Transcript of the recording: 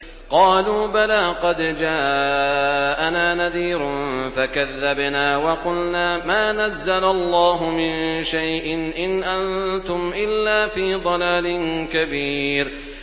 قَالُوا بَلَىٰ قَدْ جَاءَنَا نَذِيرٌ فَكَذَّبْنَا وَقُلْنَا مَا نَزَّلَ اللَّهُ مِن شَيْءٍ إِنْ أَنتُمْ إِلَّا فِي ضَلَالٍ كَبِيرٍ